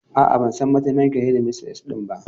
A'a, ban san mataimakiyar shedimistres ɗin ba.